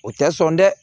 O tɛ sɔn dɛ